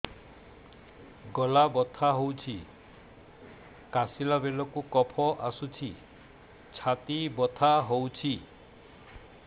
ଗଳା ବଥା ହେଊଛି କାଶିଲା ବେଳକୁ କଫ ଆସୁଛି ଛାତି ବଥା ହେଉଛି